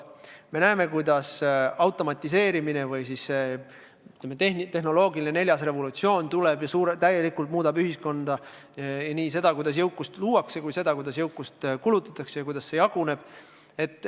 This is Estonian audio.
Me näeme, kuidas automatiseerimine või siis, ütleme, tehnoloogiline revolutsioon tuleb ja muudab ühiskonda täielikult – nii seda, kuidas jõukust luuakse, kui ka seda, kuidas jõukust kulutatakse ja kuidas see jaguneb.